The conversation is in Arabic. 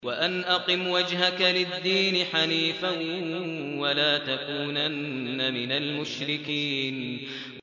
وَأَنْ أَقِمْ وَجْهَكَ لِلدِّينِ حَنِيفًا وَلَا تَكُونَنَّ مِنَ الْمُشْرِكِينَ